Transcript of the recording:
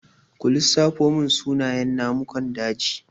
Ku lissafo mun sunayen namukan daji?